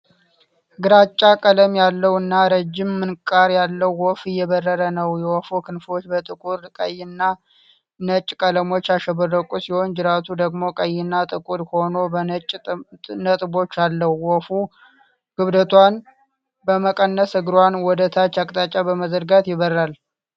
ግራጫ ቀለም ያለው እና ረዥም ምንቃር ያለው ወፍ እየበረረ ነው። የወፉ ክንፎች በጥቁር፣ ቀይ እና ነጭ ቀለሞች ያሸበረቁ ሲሆን፣ ጅራቱ ደግሞ ቀይና ጥቁር ሆኖ በነጭ ነጥቦች አለው። ወፏ ክብደቷን በመቀነስ እግሯን ወደታች አቅጣጫ በመዘርጋት ይበራል።